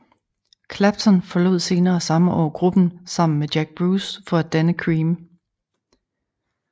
Clapton forlod senere samme år gruppen sammen med Jack Bruce for at danne Cream